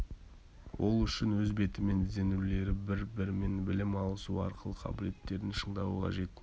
ол үшін өз бетімен ізденулері бір-бірімен білім алысуы арқылы қабілеттерін шыңдауы қажет